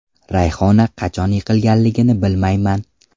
Rayhona qachon yiqilganligini bilmayman.